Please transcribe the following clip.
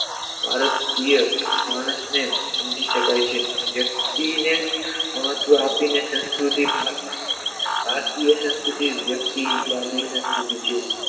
ભારતીય માણસને સમજી શકાય છે વ્યક્તિને મહત્વ આપીને સંસ્કૃતિ ભા ભારતીય સંસ્કૃતિ વ્યક્તિવાદી અંત સુધી છે